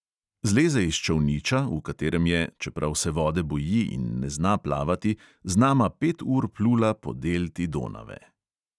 Zleze iz čolniča, v katerem je – čeprav se vode boji in ne zna plavati – z nama pet ur plula po delti donave.